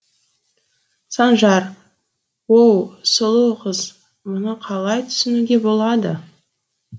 санжар оу сұлу қыз мұны қалай түсінуге болады